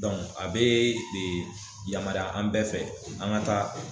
Dɔnku a bee e yamaruya an bɛɛ fɛ an ga taa